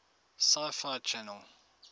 sci fi channel